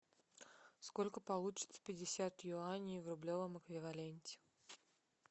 сколько получится пятьдесят юаней в рублевом эквиваленте